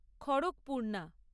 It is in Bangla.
খড়কপূর্ণা